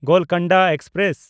Golconda express